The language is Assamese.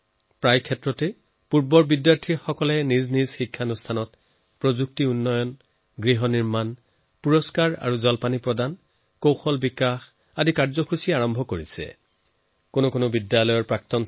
প্ৰায়ে প্ৰাক্তন বিদ্যাৰ্থীয়ে নিজৰ প্ৰতিষ্ঠানৰ প্ৰযুক্তিৰ উন্নীতকৰণত ভবন নিৰ্মাণত বঁটা আৰু বৃত্তি আৰম্ভ কৰাত দক্ষতা বিকাশৰ কাৰ্যক্ৰম আৰম্ভ কৰাত বহুত মহত্বপূৰ্ণ ভূমিকা পালন কৰে